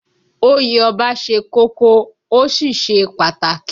Oyè Ọba ṣe kókó, ó sì ṣe pàtàkì